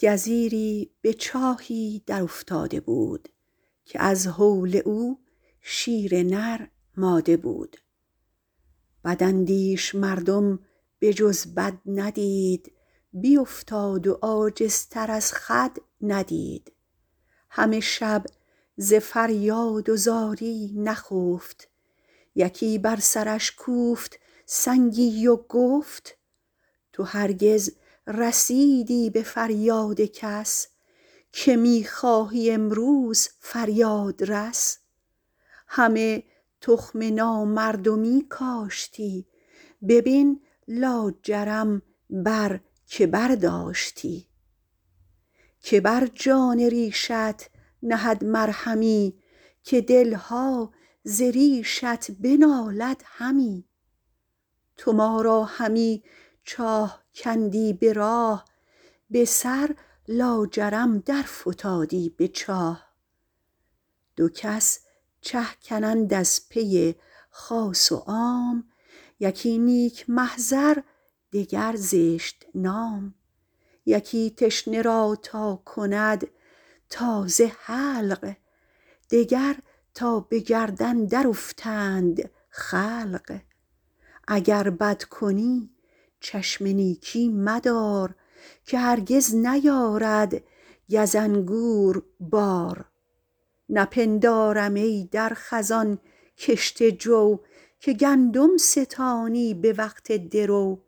گزیری به چاهی در افتاده بود که از هول او شیر نر ماده بود بداندیش مردم به جز بد ندید بیافتاد و عاجزتر از خود ندید همه شب ز فریاد و زاری نخفت یکی بر سرش کوفت سنگی و گفت تو هرگز رسیدی به فریاد کس که می خواهی امروز فریادرس همه تخم نامردمی کاشتی ببین لاجرم بر که برداشتی که بر جان ریشت نهد مرهمی که دلها ز ریشت بنالد همی تو ما را همی چاه کندی به راه به سر لاجرم در فتادی به چاه دو کس چه کنند از پی خاص و عام یکی نیک محضر دگر زشت نام یکی تشنه را تا کند تازه حلق دگر تا به گردن در افتند خلق اگر بد کنی چشم نیکی مدار که هرگز نیارد گز انگور بار نپندارم ای در خزان کشته جو که گندم ستانی به وقت درو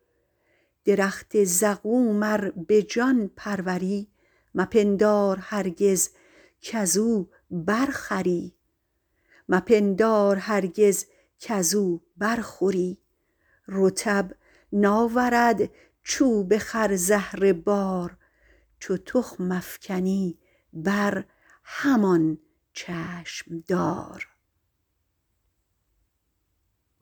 درخت زقوم ار به جان پروری مپندار هرگز کز او بر خوری رطب ناورد چوب خرزهره بار چو تخم افکنی بر همان چشم دار